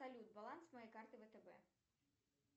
салют баланс моей карты втб